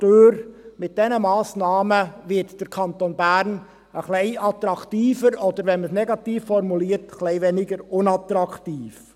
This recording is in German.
Durch diese Massnahmen wird der Kanton Bern etwas attraktiver oder, wenn man es negativ formuliert, etwas weniger unattraktiv.